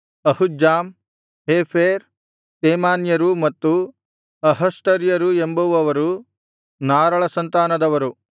ಅಹುಜ್ಜಾಮ್ ಹೇಫೆರ್ ತೇಮಾನ್ಯರೂ ಮತ್ತು ಅಹಷ್ಟಾರ್ಯರೂ ಎಂಬುವವರು ನಾರಳ ಸಂತಾನದವರು